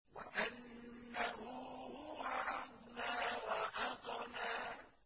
وَأَنَّهُ هُوَ أَغْنَىٰ وَأَقْنَىٰ